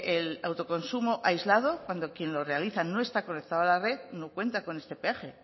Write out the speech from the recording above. el autoconsumo aislado cuando quien lo realiza no está conectado a la red no cuenta con este peaje